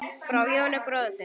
Frá Jóni bróður þínum.